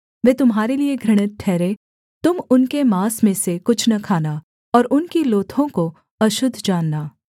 वे तुम्हारे लिये घृणित ठहरें तुम उनके माँस में से कुछ न खाना और उनकी लोथों को अशुद्ध जानना